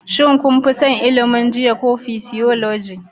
Shin kun fi son ilimin jinya ko Physiology